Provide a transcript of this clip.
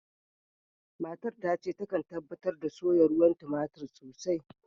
Matan tace ta kan tabatar ta soya ruwan tomatir sosai.